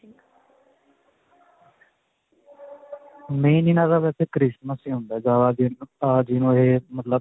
main ਇਨ੍ਹਾਂ ਦਾ ਵੈਸੇ christmas ਹੀ ਹੁੰਦਾ. ਜਿਨੂੰ ਇਹ ਮਤਲਬ